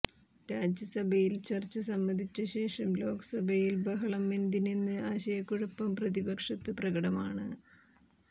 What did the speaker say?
രാജ്യസഭയിൽ ചർച്ച സമ്മതിച്ച ശേഷം ലോക്സഭയിൽ ബഹളം എന്തിനെന്ന് ആശയക്കുഴപ്പം പ്രതിപക്ഷത്ത് പ്രകടമാണ്